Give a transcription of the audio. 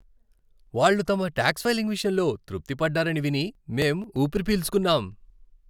వాళ్ళు తమ tax filing విషయంలో తృప్తి పడ్డారని విని మేం ఊపిరి పీల్చుకున్నాం.